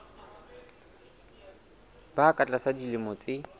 ba ka tlasa dilemo tse